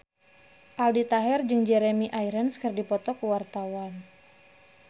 Aldi Taher jeung Jeremy Irons keur dipoto ku wartawan